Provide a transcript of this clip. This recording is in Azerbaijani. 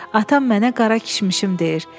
Atam mənə qara kişmişim deyir.